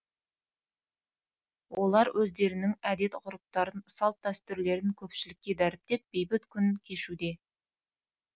олар өздерінің әдет ғұрыптарын салт дәстүрлерін көпшілікке дәріптеп бейбіт күн кешуде